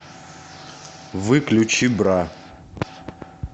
выключи бра